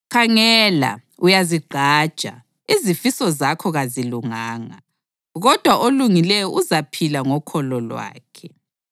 Khangela, uyazigqaja; izifiso zakhe kazilunganga, kodwa olungileyo uzaphila ngokholo lwakhe.